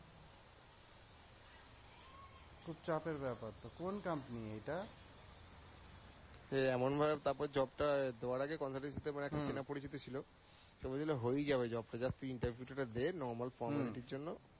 খুব চাপের ব্যাপার তো, কোন কোম্পানি এটা? এ এমন ভাবে তারপর job টা দেওয়ার আগেই consultancy মানে একটা চেনা পরিচিত ছিল, তো ঐ জন্য হয়েই যাবে job টা just তুই interview টা দে normal formality জন্য